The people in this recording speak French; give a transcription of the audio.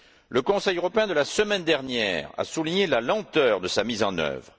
Le Conseil européen de la semaine dernière a souligné la lenteur de sa mise en œuvre.